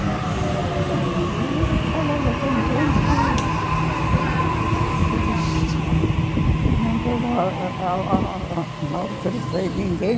Sim, eu falava com todos e... Nunca maltratei ninguém.